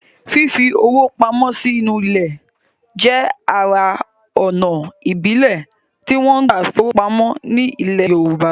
Fífi owó pamọ́ sí inú ilẹ̀ jẹ́ ara ònà ìbílẹ̀ tí wọ́n gbà fi owó pamọ́ ní ilẹ̀ yorùbá